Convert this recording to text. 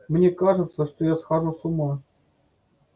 мне кажется что я схожу с ума